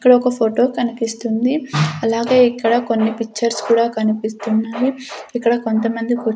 ఇక్కడ ఒక ఫొటో కనిపిస్తుంది అలాగే ఇక్కడ కొన్ని పిచ్చర్స్ కూడా కనిపిస్తున్నాయి ఇక్కడ కొంతమంది కుర్చ్--